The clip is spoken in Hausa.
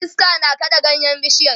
iska na kaɗa ganyen bishiyar